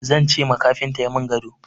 Zan ce ma kafinta ya min gado.